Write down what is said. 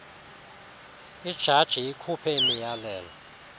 ijaji ikhuphe imiyalelo